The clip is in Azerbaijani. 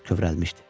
Kövrəlmişdi.